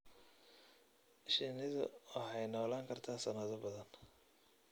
Shinnidu waxay noolaan kartaa sanado badan.